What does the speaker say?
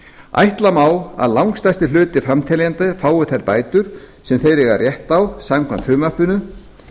ætla má að langstærstur hluti framteljenda fái þær bætur sem þeir eiga rétt á samkvæmt frumvarpinu